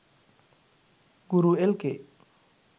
guru lk